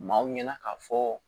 Maaw ɲɛna k'a fɔ